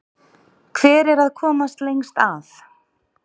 Hver er að komast lengst að?